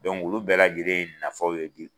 olu bɛɛ lajɛlen ye nafaw ye